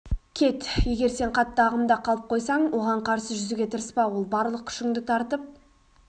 кет егер сен қатты ағымда қалып қойсаң оған қарсы жүзуге тырыспа ол барлық күшіңді тартып